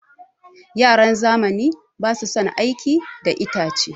Yaran zamani basu son aiki da itace.